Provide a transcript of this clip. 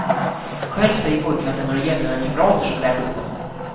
Själv säger pojken att det är några jämnåriga kamrater som lärt upp honom.